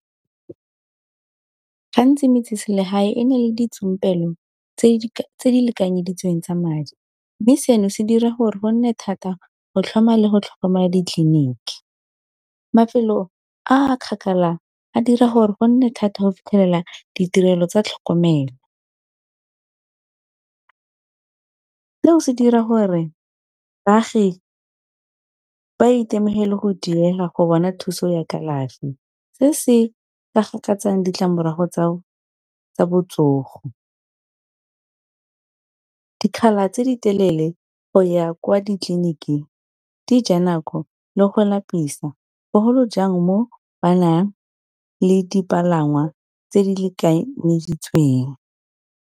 Gantsi metseselegae e na le ditsompelo tse di lekanyeditsweng tsa madi, mme seno se dira gore go nne thata go tlhoma le go tlhokomela ditleliniki. Mafelo a kgakala a dira gore go nne thata go fitlhelela ditirelo tsa tlhokomelo, seo se dira gore baagi ba itemogele go diega go bona thuso ya kalafi, se se ka gakatsang ditlamorago tsa botsogo. Dikgala tse ditelele go ya kwa ditleliniking di ja nako, le go lapisa bogolo jang moo ba nang le dipalangwa tse di lekanyeditsweng.